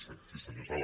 sí senyor sala